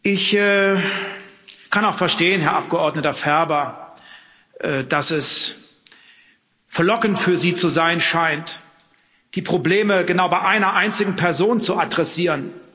Ich kann auch verstehen, Herr Abgeordneter Ferber, dass es verlockend für Sie zu sein scheint, die Probleme genau bei einer einzigen Person zu adressieren.